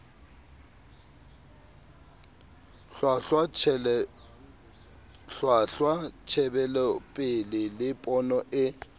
hlwahlwa tjhebelopele le pono e